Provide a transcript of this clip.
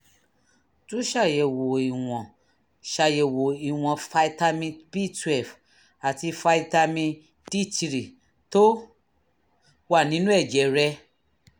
tún ṣàyẹ̀wò ìwọ̀n ṣàyẹ̀wò ìwọ̀n fitamin b12 àti fitamin d3 tó wà nínú ẹ̀jẹ̀ rẹ